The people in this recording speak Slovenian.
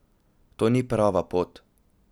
To ni prava pot!